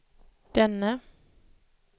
denne